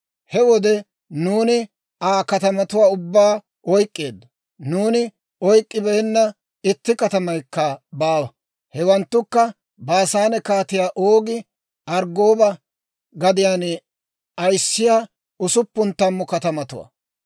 He wode nuuni Aa katamatuwaa ubbaa oyk'k'eeddo; nuuni oyk'k'ibeenna itti katamaykka baawa; hewanttukka Baasaane Kaatiyaa Oogi Arggooba gadiyaan ayissiyaa usuppun tammu katamatuwaa.